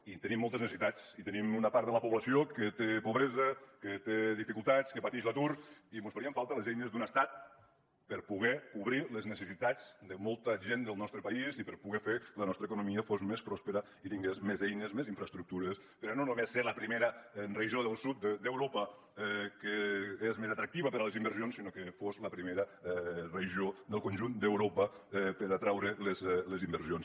i tenim moltes necessitats i tenim una part de la població que té pobresa que té dificultats que patix l’atur i mos farien falta les eines d’un estat per a poder cobrir les necessitats de molta gent del nostre país i per a poder fer que la nostra economia fos més pròspera i tingués més eines més infraestructures per a no només ser la primera regió del sud d’europa que és més atractiva per a les inversions sinó que fos la primera regió del conjunt d’europa per atraure les inversions